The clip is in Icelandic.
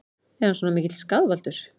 Er hann svona mikill skaðvaldur?